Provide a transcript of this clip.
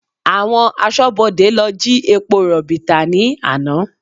Àwọn aṣọ́bodè lọ jí epo rọ̀bì tà ní àná